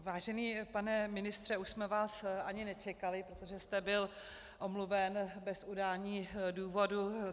Vážený pane ministře, už jsme vás ani nečekali, protože jste byl omluven bez udání důvodu.